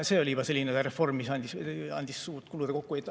See oli juba selline reform, mis andis suurt kulude kokkuhoidu.